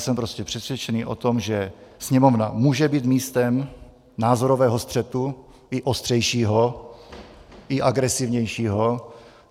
Jsem prostě přesvědčený o tom, že Sněmovna může být místem názorového střetu, i ostřejšího, i agresivnějšího.